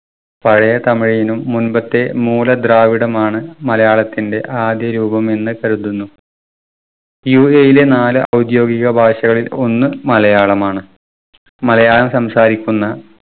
പഴയ തമിഴിനും മുൻപത്തെ മൂലദ്രാവിഡമാണ് മലയാളത്തിന്റെ ആദ്യ രൂപമെന്ന് കരുതുന്നു. UAE ലെ നാല് ഔദ്യോഗിക ഭാഷകളിൽ ഒന്ന് മലയാളമാണ്. മലയാളം സംസാരിക്കുന്ന